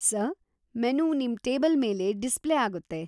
Sir, menu ನಿಮ್‌ table ಮೇಲೆ display ಆಗುತ್ತೆ.